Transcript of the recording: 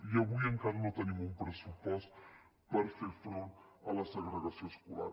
i avui encara no tenim un pressupost per fer front a la segregació escolar